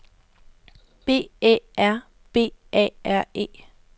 B Æ R B A R E